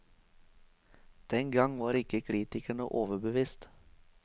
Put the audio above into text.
Den gang var ikke kritikerne overbevist.